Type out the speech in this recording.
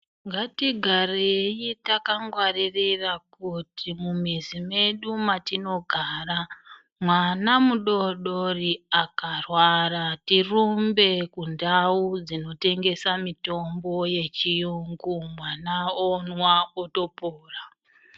Ngatigarei takangwaririra kuti mumuzi medu matinogara mwana mudoodori akarwara tirumbe kundawu dzinotengesa mitombo yechiyungu mwana onwa otopora.